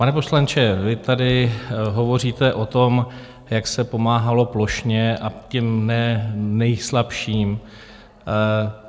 Pane poslanče, vy tady hovoříte o tom, jak se pomáhalo plošně a těm ne nejslabším.